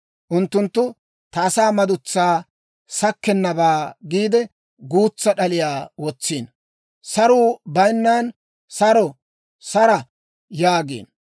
Unttunttu ta asaa madutsaa sakkennabaa giide, guutsa d'aliyaa wotsiino. Saruu bayinnan, ‹Saro, sara!› yaagiino.